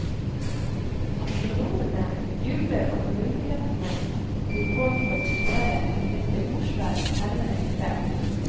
Astronomene jubler over mulighetene de får til å studere en meteorsverm nærmere i kveld.